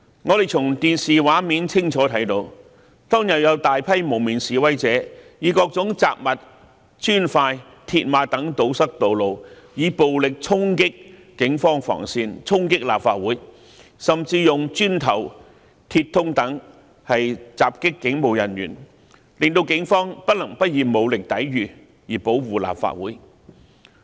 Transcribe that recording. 我們從電視畫面清楚看到，當天有大批蒙面示威者以各種雜物、磚塊、鐵馬等堵塞道路，以暴力衝擊警方防線，衝擊立法會，甚至用磚頭、鐵通等襲擊警務人員，令警方不能不以武力抵禦，以保護立法會。